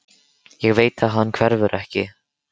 Ég veit að hann hverfur ekki.